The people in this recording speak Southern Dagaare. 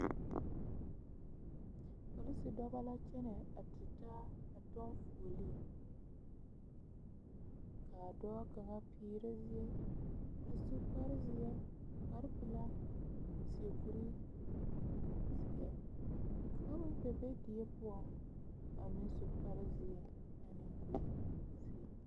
Polisi dͻbͻ la kyԑnԑ a tutaa a kyͻŋ fuoliŋ, ka a dͻͻ kaŋa peerԑ zie, a su kpare zeԑ, kpare pelaa a seԑ kuri zeԑ, ka kaŋa meŋ kpԑ die poͻŋ a su kpare zeԑ.